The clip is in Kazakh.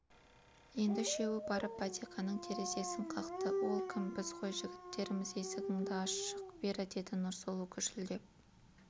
енді үшеуі барып бәтиқаның терезесін қақты ол кім біз ғой жігіттерміз есігіңді аш шық бері деді нұрсұлу гүжілдеп